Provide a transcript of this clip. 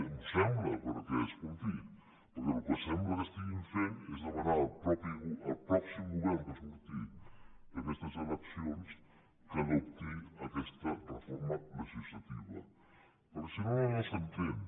m’ho sembla perquè escolti perquè el que sembla que estiguin fent és demanar al pròxim govern que surti d’aquestes eleccions que adopti aquesta reforma legislativa perquè si no no s’entén